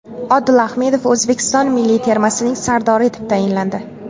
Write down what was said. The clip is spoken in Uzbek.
Odil Ahmedov O‘zbekiston milliy termasining sardori etib tayinlandi.